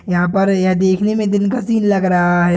यहाँ पर ये देखने में दिन का सिन लग रहा है।